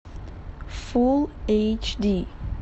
фулл эйч ди